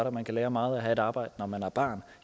at man kan lære meget af et arbejde når man er barn